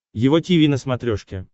его тиви на смотрешке